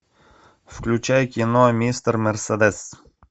включай кино мистер мерседес